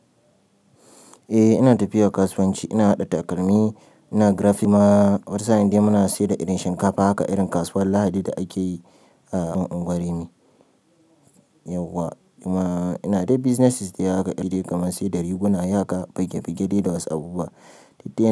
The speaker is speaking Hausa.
Eh ina tafiya kasuwanci, ina haɗa takalmi, ina graffima. Wata sa'in dai muna siyar da irin shinkafa haka irin kasuwar Lahadi da ake yi a unguwar ni. Yauwa amma ina dai businesses dai haka irin dai kamar sai da riguna haka bige bige dai da wasu abubuwa.